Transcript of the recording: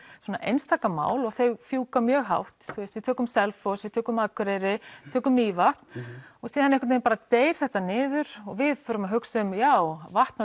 einstaka mál og þau fjúka mjög hátt við tökum Selfoss við tökum Akureyri tökum Mývatn og síðan einhvern veginn deyr þetta niður og við förum að hugsa já vatn